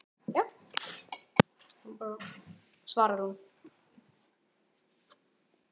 Já, svarar hún.